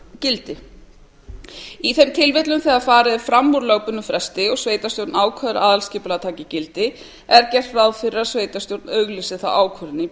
gildi í þeim tilfellum þegar farið er fram úr lögbundnum fresti og sveitarstjórn ákveður að aðalskipulag taki gildi er gert ráð fyrir að sveitarstjórn auglýsi það í